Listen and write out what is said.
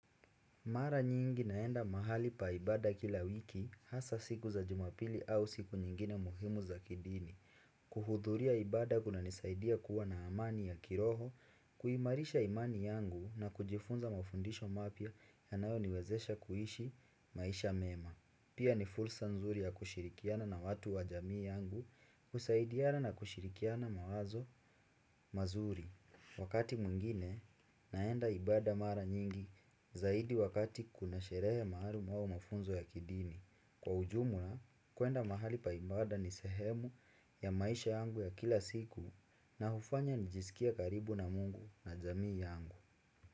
Mara nyingi naenda mahali pa ibada kila wiki hasa siku za jumapili au siku nyingine muhimu za kidini. Kuhudhuria ibada kunanisaidia kua na amani ya kiroho, kuimarisha imani yangu na kujifunza mafundisho mapya yanayo niwezesha kuishi maisha mema. Pia ni fursa nzuri ya kushirikiana na watu wa jamii yangu kusaidiana na kushirikiana mawazo mazuri. Wakati mwingine, naenda ibada mara nyingi zaidi wakati kuna sherehe maalum au mafunzo ya kidini. Kwa ujumla, kuenda mahali pa ibada ni sehemu ya maisha yangu ya kila siku na hufanya nijisikie karibu na mungu na jamii yangu.